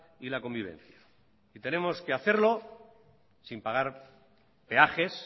y la convivencia tenemos que hacerlo sin pagar peajes